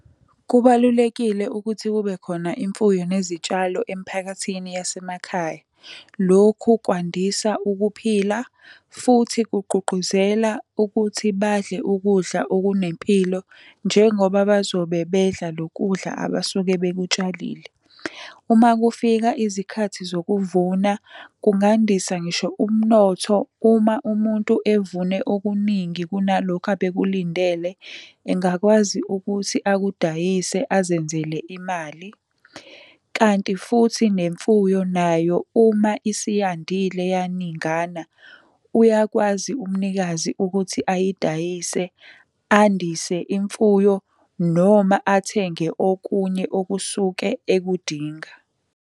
Kubalulekile ukuthi kubekhona imfuyo nezitshalo emiphakathini yasemakhaya. Lokhu kwandisa ukuphila, futhi kugqugquzela ukuthi badle ukudla okunempilo njengoba bazobe bedla loku kudla abasuke bekutshelile. Uma kufika izikhathi zokuvuma kungandisa ngisho umnotho uma umuntu evune okuningi kunalokhu abekulindele. Engakwazi ukuthi akudayise azenzele imali, kanti futhi nemfuyo nayo uma isiyandile yaningana, uyakwazi umnikazi ukuthi ayidayise, andise imfuyo noma athenge okunye okusuke ekudinga.